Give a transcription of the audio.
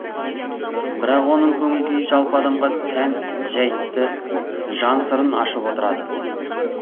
бірақ оның көңіл күйі жалпы адамға тән жәйтті жан сырын ашып отырады